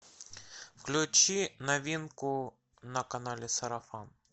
включи новинку на канале сарафан